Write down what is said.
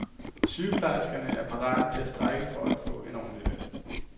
Sygeplejerskerne er parate til at strejke for at for en ordentlig løn.